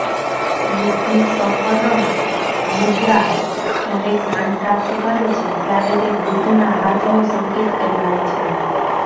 બુદ્ધીસપરસ મુદ્રા જ્યારે જ્ઞાન પ્રાપ્ત કરે છે ત્યારે તે બુદ્ધના હાથનો સંકેત કહેવાય છે